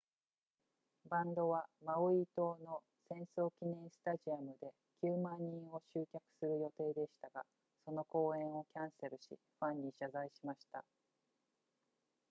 バンドはマウイ島の戦争記念スタジアムで 90,000 人を集客する予定でしたがその公演をキャンセルしファンに謝罪しました